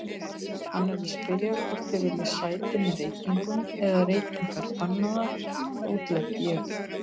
Hann er að spyrja hvort þið viljið sæti með reykingum eða reykingar bannaðar, útlegg ég.